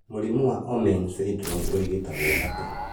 Mũrimũ wa Omenn syndrome ũngĩrigitwo atĩa